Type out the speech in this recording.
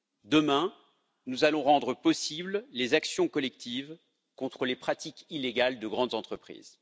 Demain, nous allons rendre possibles les actions collectives contre les pratiques illégales de grandes entreprises.